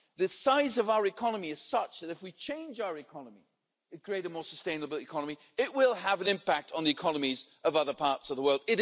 The size of our economy is such that, if we change our economy and create a more sustainable economy, it will have an impact on the economies of other parts of the world.